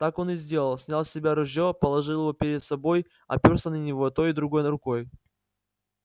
так он и сделал снял с себя ружье положил его перед собой оперся на него той и другой рукой